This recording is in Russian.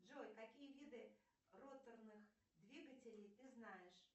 джой какие виды роторных двигателей ты знаешь